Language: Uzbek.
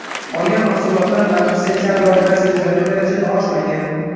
Qolgan mahsulotlar narxi sentabr oyida sezilarli darajada oshmagan.